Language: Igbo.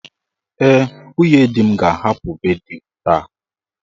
Ee, nwunye di m ga-ahapụ be di m taa.